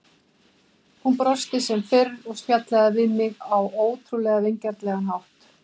Hún brosti sem fyrr og spjallaði við mig á ótrúlega vingjarnlegan hátt.